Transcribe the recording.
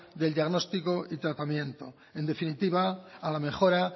del diagnóstico y tratamiento en definitiva a la mejora